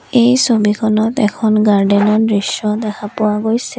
এই ছবিখনত এখন গাৰ্ডেনৰ দৃশ্য দেখা পোৱা গৈছিল।